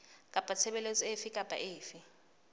kapa tshebeletso efe kapa efe